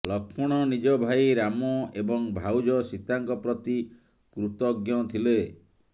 ଲକ୍ଷ୍ମଣ ନିଜ ଭାଇ ରାମ ଏବଂ ଭାଉଜ ସୀତାଙ୍କ ପ୍ରତି କ୍ରୁତଜ୍ଞ ଥିଲେ